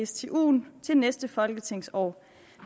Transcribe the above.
stuen til næste folketingsår